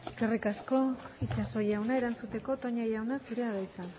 eskerrik asko itxaso jauna erantzuteko toña jauna zurea da hitza